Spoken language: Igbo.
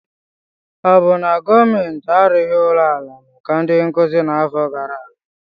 Ọ bụ na gọọmentị arụghị ụlọ ala maka ndị nkuzi n'afọ gara aga?